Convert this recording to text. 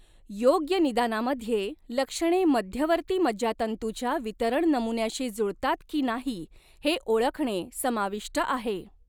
योग्य निदानामध्ये लक्षणे मध्यवर्ती मज्जातंतूच्या वितरण नमुन्याशी जुळतात की नाही हे ओळखणे समाविष्ट आहे.